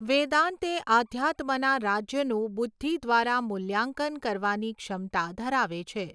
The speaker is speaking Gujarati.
વેદાંત એ આધ્યાત્મનાં રાજ્યનું બુદ્ધિ દ્વારા મુલ્યાંકન કરવાની ક્ષમતા ધરાવે છે.